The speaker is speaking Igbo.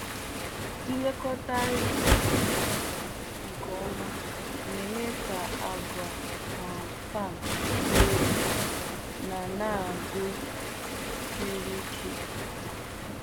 Ịlekọta ehi nwoke nke ọma na-eme ka àgwà um sperm dị elu na na agụụ siri ike.